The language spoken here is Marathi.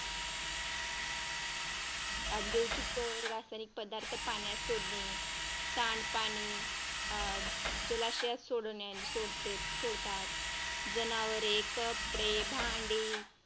औद्योगिक रासायनिक पदार्थ पाण्यात सोडणे सांडपाणी जलाशयात सोडते सोडतात जनावरे, कपडे, भांडे